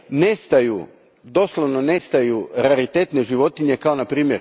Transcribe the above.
nestaju, doslovno nestaju raritetne životinje kao npr.